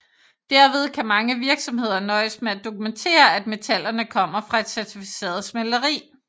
Derved kan mange virksomheder nøjes med at dokumentere at metallerne kommer fra et certificeret smelteri